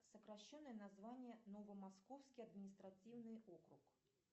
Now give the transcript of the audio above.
сокращенное название новомосковский административный округ